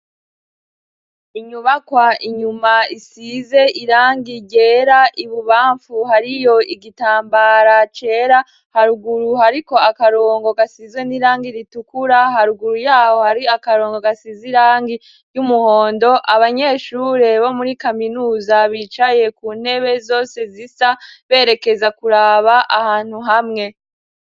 Inyubakwa inyuma isize irangi ryera, ibubamfu hariyo igitambara cera, haruguru hariko akarongo gasize n'irangi ritukura, haruguru y'aho hari akarongo gasize irangi ry'umuhondo, abanyeshure bo muri kaminuza bicaye ku ntebe zose zisa, berekeza kuraba ahantu hamwe.